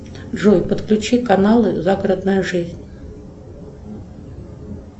джой подключи каналы загородная жизнь